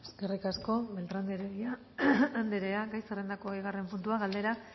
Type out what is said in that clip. eskerrik asko beltrán de heredia anderea gai zerrendako bigarren puntua galdera